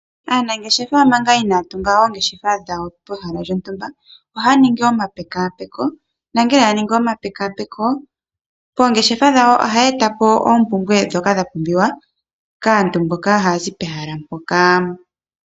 Aanangeshefa manga inaaya tunga oongeshefa dhawo pehala lyontumba ohaya ningi omapekapeko. Shampa ya ningi omapekapeko, moongeshefa dhawo ohaya etamo iinima mbyoka yapumbiwa pomudhingoloko mpoka.